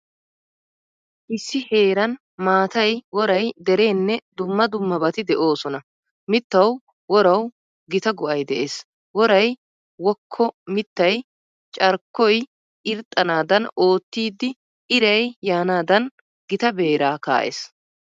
Issi heeran maatay, woray, dereenne dumma dummabati de'oosona. Mittawu worawu gita go'ay de'ees. Woray wokko mittay carkkoy irxxanaadan oottidi iray yaanaadan gita beeraa kaa'ees.